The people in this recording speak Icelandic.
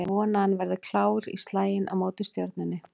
Ég vona að hann verði klár í slaginn á móti Stjörnunni